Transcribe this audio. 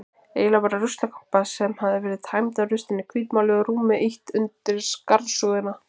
Eiginlega bara ruslakompa sem hafði verið tæmd af ruslinu, hvítmáluð og rúmi ýtt undir skarsúðina.